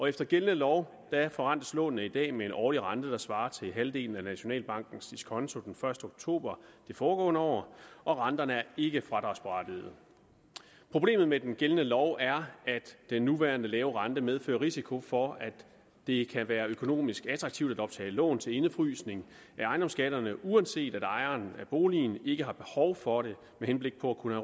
efter gældende lov forrentes lånene i dag med en årlig rente der svarer til halvdelen af nationalbankens diskonto den første oktober det foregående år og renterne er ikke fradragsberettigede problemet med den gældende lov er at den nuværende lave rente medfører risiko for at det kan være økonomisk attraktivt at optage lån til indefrysning af ejendomsskatterne uanset at ejeren af boligen ikke har behov for det med henblik på at